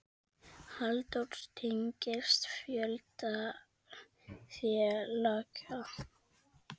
Halldór tengist fjölda félaga.